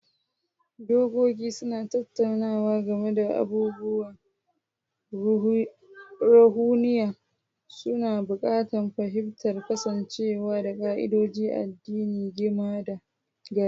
Dokoki suna tattaunawa game da batutuwan ruhaniya, suna haɓaka fahimtar kasancewa da ƙa'idodin addini gama gari.